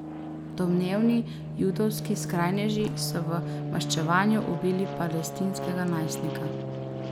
Domnevni judovski skrajneži so v maščevanju ubili palestinskega najstnika.